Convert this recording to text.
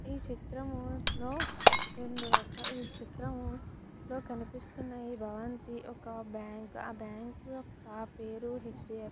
ఈ చిత్రంలో రెండు రకాల ఈ చిత్రంలో కనిపిస్తున్నది భవంతి ఒక బ్యాంకు . ఆ బ్యాంకు యొక్క పేరు హెచ్ బి ఐ --